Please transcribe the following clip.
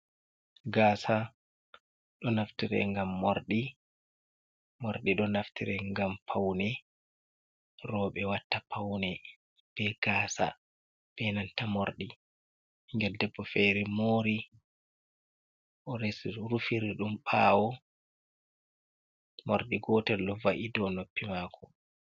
Gasa do naftire gam mordi do naftire gam paune robe watta paune be gasa ,be nanta mordi mingel debbo fere mori oresi rufiri dum bawo mordi gotel lova’i do noppi mako.